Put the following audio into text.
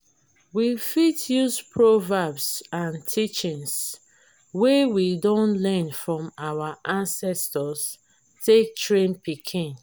we fit use proverbs and teachings wey we don learn from our ancestor take train pikin